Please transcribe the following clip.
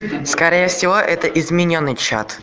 скорее всего это изменённый чат